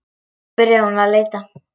Svo byrjaði hún að leita.